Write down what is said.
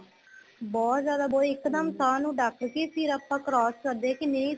ਬਹੁਤ ਜਿਆਦਾ ਇੱਕ ਦਮ ਸਾਹ ਨੂੰ ਡੱਕ ਕੇ ਫ਼ਿਰ ਆਪਾਂ cross ਕਰਦੇ ਕੇ ਨਹੀਂ